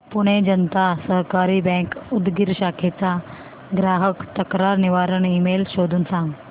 Pune Janata Sahakari bank Udgir शाखेचा ग्राहक तक्रार निवारण ईमेल शोधून सांग